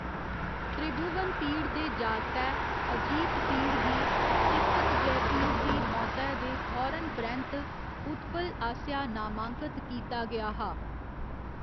त्रिभुवनपीड दे जागतै, अजीतपीड गी चिप्पतजयपीड दी मौतै दे फौरन परैंत्त उत्पल आसेआ नामांकत कीता गेआ हा।